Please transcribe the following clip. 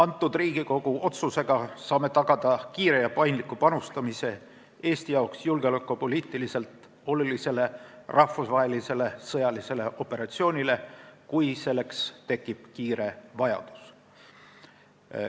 Selle Riigikogu otsusega saame tagada kiire ja paindliku panustamise Eestile julgeolekupoliitiliselt olulisse rahvusvahelisse sõjalisse operatsiooni, kui selleks tekib vajadus.